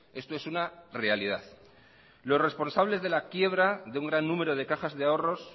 esto es una realidad los responsables de la quiebra de ungran número de cajas de ahorros